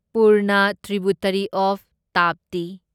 Purna tributary of Tapti